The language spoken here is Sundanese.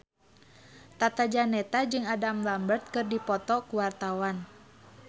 Tata Janeta jeung Adam Lambert keur dipoto ku wartawan